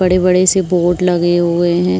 बड़े-बड़े से बोर्ड लगे हुए हैं।